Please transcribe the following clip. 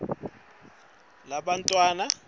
ncono likhono lebantfwana